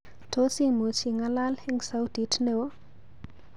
Tos imuch ing'alal eng sautit neo?